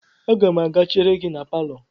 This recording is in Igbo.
Aga m a ga-chere gi na palọ.